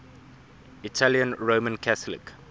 italian roman catholic